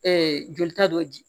jolita dɔ di